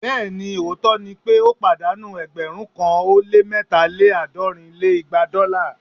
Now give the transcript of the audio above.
Bẹẹni! òótọ́ ni pé ó pàdánù ẹgbẹ̀rún kan ó lé mẹ́ta lé àádọ́rin lé igba dọ́là